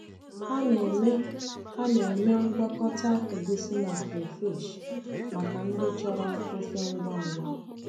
Ha na-eme Ha na-eme ngwakọta egusi na crayfish maka ndị chọrọ ofe ngwa ngwa.